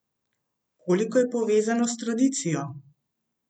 Koliko je povezano s tradicijo?